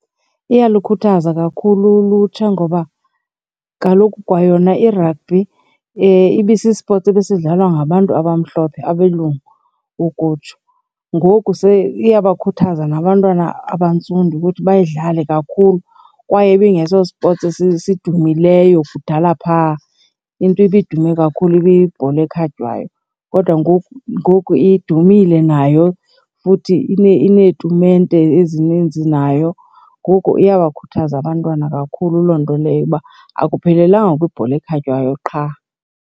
Iyalukhuthaza kakhulu ulutsha ngoba kaloku kwayona i-rugby ibisi-sport ebesidlalwa ngabantu abamhlophe, abelungu ukutsho. Ngoku iyabkhuthaza nabantwana abantsundu ukuthi bayidlale kakhulu kwaye ibingeso-sports sidumileyo kudala phaa. Into ibidume kakhulu ibiyibhola ekhatywayo kodwa ngoku ngoku idumile nayo futhi ineetumente ezininzi nayo. Ngoku iyabakhuthaza abantwana kakhulu loo nto leyo uba akuphelelanga kwibhola ekhatywayo qha.